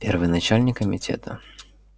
первый начальник комитета